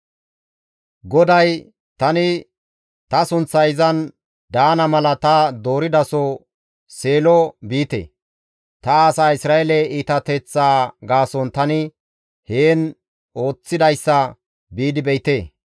GODAY, «Tani ta sunththay izan daana mala ta dooridaso Seelo biite; ta asaa Isra7eele iitateththaa gaason tani heen ooththidayssa biidi be7ite.